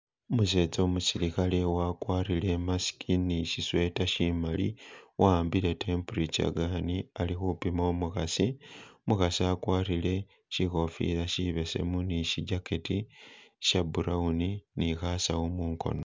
Umusetsa umusilikhale wagwarile e'mask ni shi sweater shimali wahambile temperature gun ali khupima umukhasi umukhasi agwarile shikhofila shibesemu ni shi jacket sha brown ni khasawu mungono.